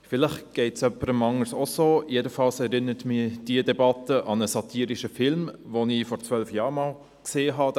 Diese Debatte erinnert mich an einen satirischen Film mit dem Titel «Thank You for Smoking», den ich vor zwölf Jahren gesehen habe.